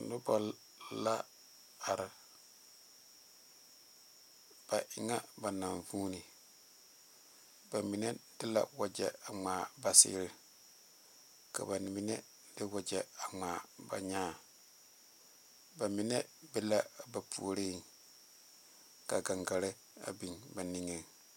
Noba la are ba e ŋa ba naŋ vuune bamine de la wagye a ŋmaa ba seɛre ka bamine de wagye a ŋmaa ba nyaa bamine be la a ba puori ka gangaare a baŋ ba niŋe.